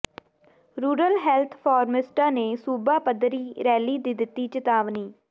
rural health ਫ਼ਾਰਮਾਸਿਸਟਾਂ ਨੇ ਸੂਬਾ ਪੱਧਰੀ ਰੈਲੀ ਦੀ ਦਿੱਤੀ ਚਿਤਾਵਨੀ